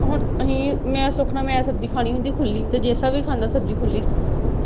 ਹੁਣ ਅਸੀਂ ਮੈਂ ਸੁਖ ਨਾਲ ਮੈਂ ਸਬਜ਼ੀ ਕਹਾਣੀ ਹੁੰਦੀ ਆ ਖੁੱਲੀ ਤੇ ਜੇਸਾ ਵੀ ਖਾਂਦਾ ਸਬਜ਼ੀ ਖੁੱਲੀ।